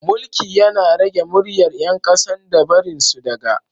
mulki Yana rage myryar yankasan da barinsu daga